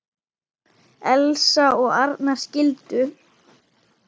Elsa og Arnar skildu.